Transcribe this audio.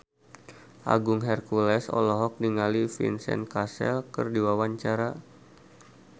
Agung Hercules olohok ningali Vincent Cassel keur diwawancara